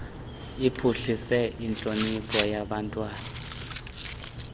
iphuhlise intlonipho yabantwana